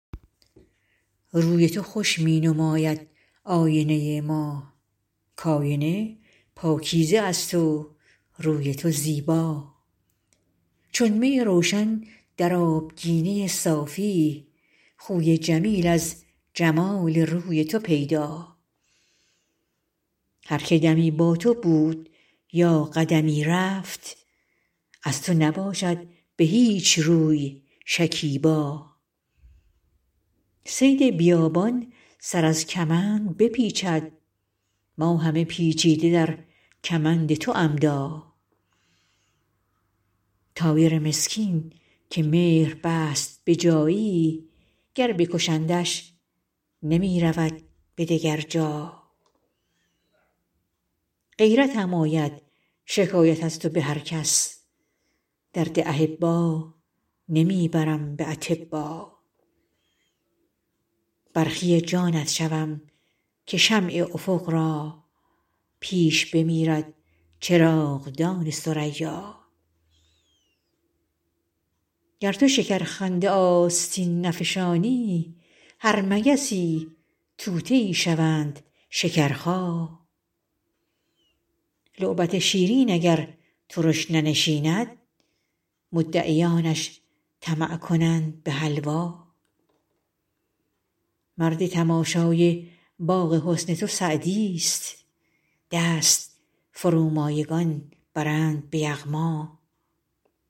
روی تو خوش می نماید آینه ما کآینه پاکیزه است و روی تو زیبا چون می روشن در آبگینه صافی خوی جمیل از جمال روی تو پیدا هر که دمی با تو بود یا قدمی رفت از تو نباشد به هیچ روی شکیبا صید بیابان سر از کمند بپیچد ما همه پیچیده در کمند تو عمدا طایر مسکین که مهر بست به جایی گر بکشندش نمی رود به دگر جا غیرتم آید شکایت از تو به هر کس درد احبا نمی برم به اطبا برخی جانت شوم که شمع افق را پیش بمیرد چراغدان ثریا گر تو شکرخنده آستین نفشانی هر مگسی طوطیی شوند شکرخا لعبت شیرین اگر ترش ننشیند مدعیانش طمع کنند به حلوا مرد تماشای باغ حسن تو سعدیست دست فرومایگان برند به یغما